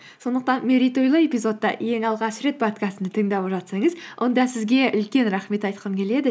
сондықтан мерейтойлы эпизодта ең алғаш рет подкастымды тыңдап жатсаңыз онда сізге үлкен рахмет айтқым келеді